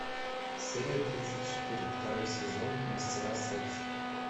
серия тридцать четыре второй сезон мастера секса